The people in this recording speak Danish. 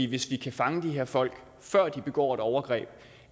hvis vi kan fange de her folk før de begår et overgreb